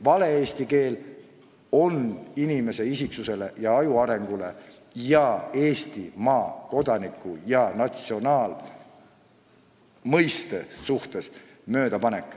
Vale eesti keel pärsib isiksuse ja aju arengut ja riivab Eesti kodaniku rahvustunnet.